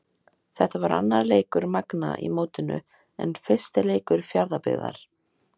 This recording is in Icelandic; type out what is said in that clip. Þetta var annar leikur Magna í mótinu en fyrsti leikur Fjarðabyggðar.